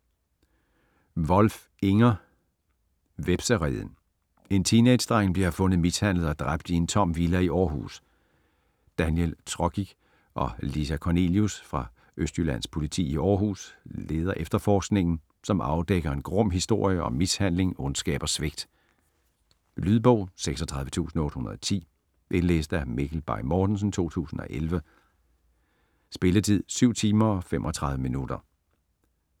Wolf, Inger: Hvepsereden En teenagedreng bliver fundet mishandlet og dræbt i en tom villa i Århus. Daniel Trokic og Lisa Kornelius fra Østjyllands Politi i Århus leder efterforskningen, som afdækker en grum historie om mishandling, ondskab og svigt. Lydbog 36810 Indlæst af Mikkel Bay Mortensen, 2011. Spilletid: 7 timer, 35 minutter.